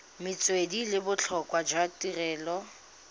metswedi le botlhokwa jwa tirelo